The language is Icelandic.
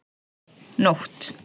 Nótt